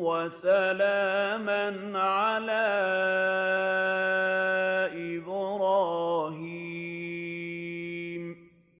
وَسَلَامًا عَلَىٰ إِبْرَاهِيمَ